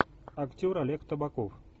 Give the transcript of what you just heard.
актер олег табаков